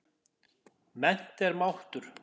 Mennt er máttur.